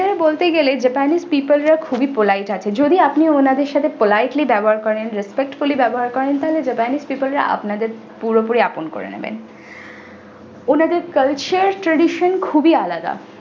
বলতে গেলে japanese people রা খুবই polite আছেন যদি আপনি উনাদের সঙ্গে politely ব্যবহার করেন respectfully ব্যবহার করেন তাহলে japanese people এরা আপনাদের পুরোপুরি আপন করে নেবেন ওনাদের culture tradition খুবই আলাদা